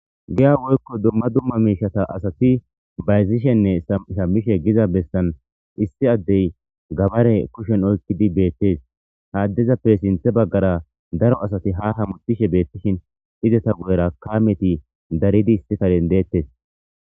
giya woykko dumma dumma miishata asati bayzishenne samshammishe giza bessan issi addey gabare kushen oykkidi beettes haaddezappe sinthe baggara daro asati ha hamutishe beettishin izeta guyera kaameti daridi issikalen deettes